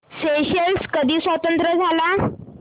Seychelles कधी स्वतंत्र झाला